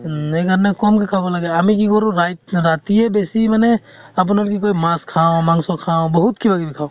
উম সেই কাৰণে কম কে খাব লাগে। আমি কি কৰো ৰাইত ৰাতিয়ে বেছি মানে আপোনাৰ কি কয় মাছ খাওঁ, মাংস খাওঁ বহুত কিবা কিবি খাওঁ ।